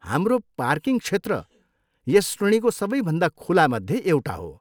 हाम्रो पार्किङ क्षेत्र यस श्रेणीको सबैभन्दा खुलामध्ये एउटा हो।